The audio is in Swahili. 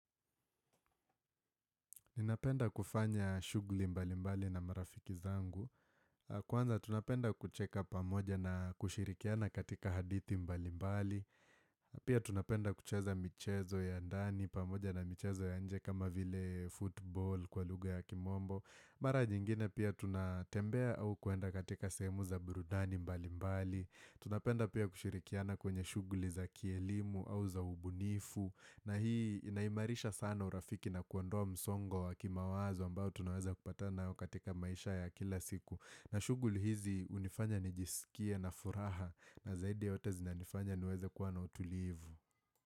Ninapenda kufanya shugli mbali mbali na marafiki zangu, kwanza tunapenda kucheka pamoja na kushirikiana katika hadithi mbali mbali, pia tunapenda kucheza michezo ya ndani pamoja na michezo ya nje kama vile football kwa lugha ya kimombo. Mara nyingine pia tunatembea au kuenda katika sehemu za burudani mbali mbali Tunapenda pia kushirikiana kwenye shughuli za kielimu au za ubunifu na hii inaimarisha sana urafiki na kuondoa msongo wa kimawazo ambao tunaweza kupatana nayo katika maisha ya kila siku na shughuli hizi hunifanya nijiskie na furaha na zaidi ya yote zinanifanya niweze kuwa na utulivu.